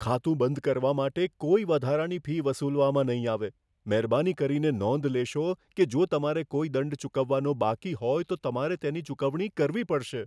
ખાતું બંધ કરવા માટે કોઈ વધારાની ફી વસૂલવામાં નહીં આવે. મહેરબાની કરીને નોંધ લેશો કે જો તમારે કોઈ દંડ ચૂકવવાનો બાકી હોય તો તમારે તેની ચૂકવણી કરવી પડશે.